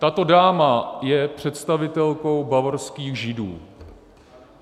Tato dáma je představitelkou bavorských Židů.